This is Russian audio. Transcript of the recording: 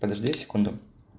подожди секунду